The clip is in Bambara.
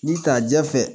Ni ka jɛ fɛ